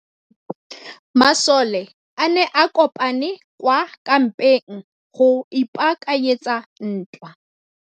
Masole a ne a kopane kwa kampeng go ipaakanyetsa ntwa.